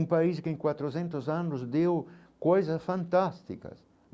Um país que em quatrocentos anos deu coisas fantásticas.